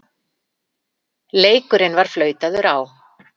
Leikurinn var flautaður á.